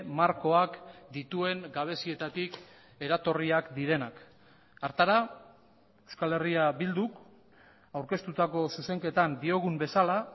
markoak dituen gabezietatik eratorriak direnak hartara euskal herria bilduk aurkeztutako zuzenketan diogun bezala